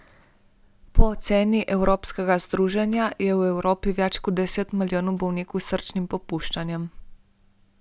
Po oceni evropskega združenja je v Evropi več kot deset milijonov bolnikov s srčnim popuščanjem.